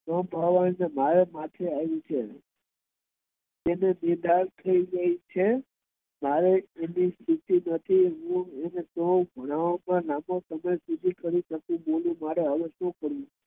ભણવાનું મારે માથે આવ્યું છે તે નિર્ધાર થઇ ગઈ છે' મારે દીકરી નથી તો હું અને ભણવામાં લાંબો સમય આપી સકતો નથી હવે હું શું કરવું?